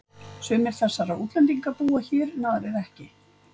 Sumir þessara útlendinga búa hér en aðrir ekki.